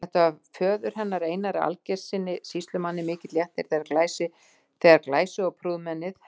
Það var föður hennar, Einari Aðalgeirssyni sýslumanni, mikill léttir þegar glæsi- og prúðmennið